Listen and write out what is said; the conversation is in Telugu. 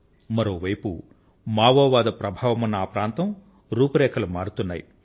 మరొక వైపు మావోవాద ప్రభావం ఉన్నటువంటి ఆ ప్రాంతం యొక్క రూపురేఖలు మారుతున్నాయి